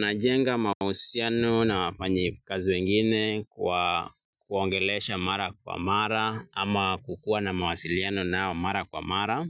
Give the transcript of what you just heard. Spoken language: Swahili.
Najenga mahusiano na wafanyi kazi wengine kwa kuwaongelesha mara kwa mara ama kukua na mawasiliano na mara kwa mara